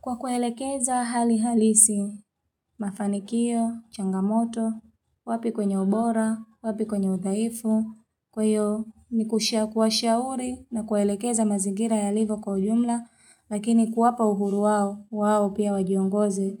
Kwa kuelekeza hali halisi, mafanikio, changamoto, wapi kwenye ubora, wapi kwenye udhaifu, kwa hiyo ni kuwashauri na kuelekeza mazigira yalivo kwa ujumla, lakini kuwapa uhuru wawo, wawo pia wajiongoze,